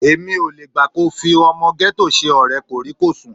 Èmi ò le gbà kí o fi ọmọ gẹ́tò ṣe ọ̀rẹ́ kòríkòsùn.